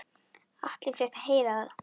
Atli fékk að heyra það.